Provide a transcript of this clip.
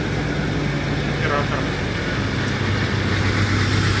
оператор